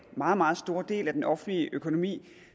meget meget store del af den offentlige økonomi